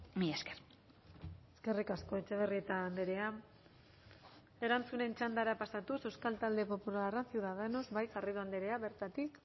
mila esker eskerrik asko etxebarrieta andrea erantzunen txandara pasatuz euskal talde popularra ciudadanos bai garrido andrea bertatik